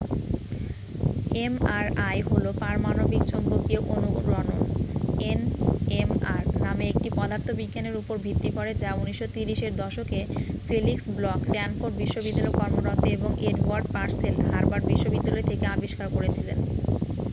MRI হল পারমাণবিক চৌম্বকীয় অনুরণন এনএমআর নামে একটি পদার্থবিজ্ঞানের উপর ভিত্তি করে যা ১৯৩০ এর দশকে ফেলিক্স ব্লখ স্ট্যানফোর্ড বিশ্ববিদ্যালয়ে কর্মরত এবং এডওয়ার্ড পার্সেল হার্ভার্ড বিশ্ববিদ্যালয় থেকে আবিষ্কার করেছিলেন।